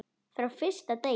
Frá fyrsta degi.